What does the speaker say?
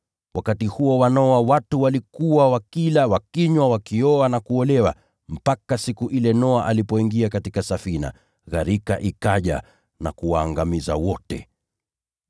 Watu walikuwa wakila na kunywa, wakioa na kuolewa, mpaka siku ile Noa alipoingia katika safina. Ndipo gharika ikaja na kuwaangamiza wote.